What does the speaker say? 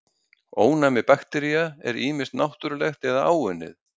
ónæmi baktería er ýmist náttúrlegt eða áunnið